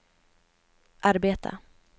arbeta